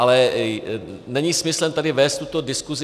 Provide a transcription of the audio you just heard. Ale není smyslem vést tady tuto diskusi.